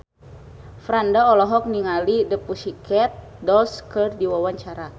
Franda olohok ningali The Pussycat Dolls keur diwawancara